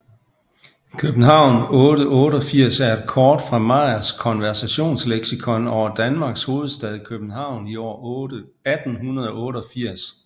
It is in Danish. København 1888 er et kort fra Meyers Konversationslexikon over Danmarks hovedstad København i år 1888